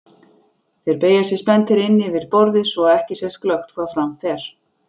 Þeir beygja sig spenntir inn yfir borðið svo að ekki sést glöggt hvað fram fer.